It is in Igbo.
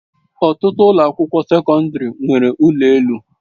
Ọtụtụ ụlọ akwụkwọ sekọndrị nwere ụlọ elu.